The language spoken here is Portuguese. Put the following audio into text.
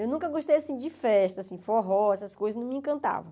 Eu nunca gostei de festa, assim, forró, essas coisas não me encantavam.